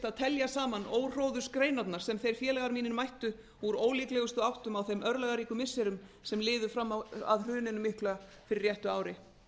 að telja saman óhróðursgreinarnar sem þeir félagar mínir mættu úr ólíklegustu áttum á þeim örlagaríku missirum sem liðu fram að hruninu mikla fyrir réttu ári